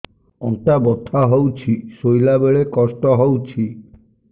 ଅଣ୍ଟା ବଥା ହଉଛି ଶୋଇଲା ବେଳେ କଷ୍ଟ ହଉଛି